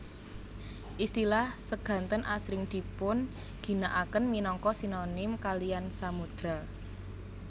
Istilah seganten asring dipun ginakaken minangka sinonim kaliyan samodra